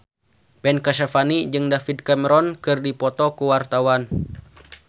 Ben Kasyafani jeung David Cameron keur dipoto ku wartawan